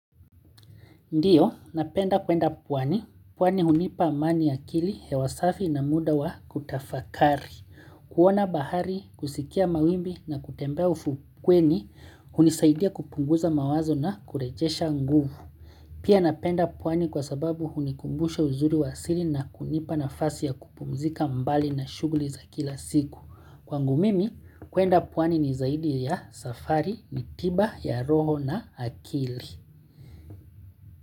Ndiyo, napenda kwenda pwani. Pwani hunipa amani ya akili, ya wasafi na muda wa kutafakari. Kuona bahari, kusikia mawimbi na kutembea ufukweni, hunisaidia kupunguza mawazo na kurejesha nguvu. Pia napenda pwani kwa sababu hunikumbushe uzuri wa asili na kunipa nafasi ya kupumzika mbali na shughuli za kila siku. Kwangu mimi, kwenda pwani ni zaidi ya safari, ni tiba, ya roho na akili.